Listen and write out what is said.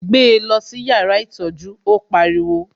Gbé lọ sí yàrá ìtọ́jú, ó pariwo